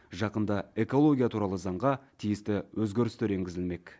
жақында экология туралы заңға тиісті өзгерістер енгізілмек